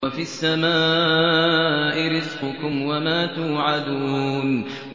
وَفِي السَّمَاءِ رِزْقُكُمْ وَمَا تُوعَدُونَ